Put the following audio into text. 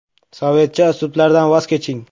Sovetcha uslublardan voz keching.